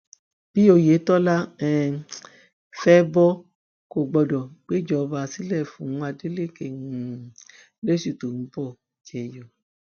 bí oyetola um fẹ bọ kó o gbọdọ gbéjọba sílẹ fún adeleke um lóṣù tó ń bọ jẹnyọ